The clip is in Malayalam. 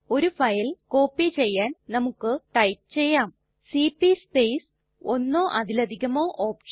ഒരു ഫയൽ കോപ്പി ചെയ്യാൻ നമുക്ക് ടൈപ്പ് ചെയ്യാം സിപി സ്പേസ് ഒന്നോ അതിലധികമോ OPTION